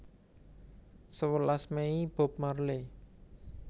Sewelas Mei Bob Marley